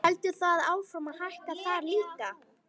Heldur það áfram að hækka þar líka?